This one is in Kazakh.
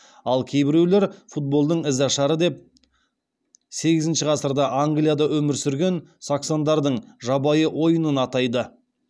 ал кейбіреулер футболдың ізашары деп сегізінші ғасырда англияда өмір сүрген саксондардың жабайы ойынын атайды